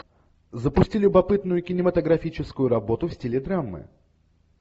запусти любопытную кинематографическую работу в стиле драмы